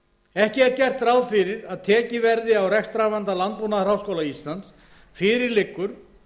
gert ráð fyrir að tekið verði á rekstrarvanda landbúnaðarháskóla íslands fyrir liggur